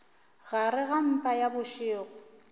gare ga mpa ya bošego